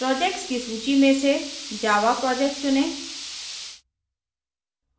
projects की सूची में से java project चुनें